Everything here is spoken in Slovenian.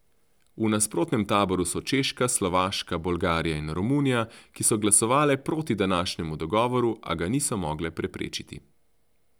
V nasprotnem taboru so Češka, Slovaška, Bolgarija in Romunija, ki so glasovale proti današnjemu dogovoru, a ga niso mogle preprečiti.